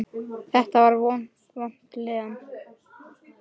Þetta var vond líðan.